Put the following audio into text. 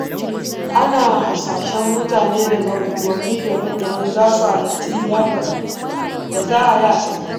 Ana hasashen mutane daga unguwanni daban-daban za su halarci liyafar da za a yi a Sokoto.